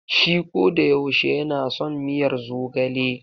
Shi kodayaushe ya na son miyar zogale.